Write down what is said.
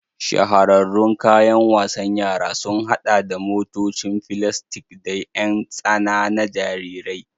Shahararrun kayan wasan yara sun haɗa da motocin filastik da ƴan tsana na jarirai.